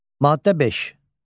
Maddə 5.